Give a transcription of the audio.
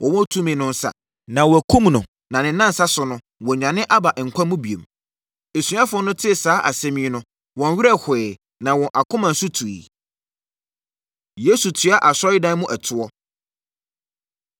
wɔwɔ tumi no nsa, na wɔakum no na ne nnansa so no, wanyane aba nkwa mu bio.” Asuafoɔ no tee saa asɛm yi no, wɔn werɛ hoeɛ, na wɔn akoma nso tuiɛ. Yesu Tua Asɔredan Mu Ɛtoɔ